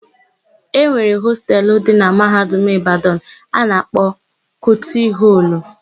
E nwere hostelu dị na Mahadum Ịbadanụ a na-akpọ Kuti họlụ.